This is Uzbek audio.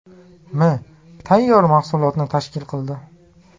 m. tayyor mahsulotni tashkil qildi.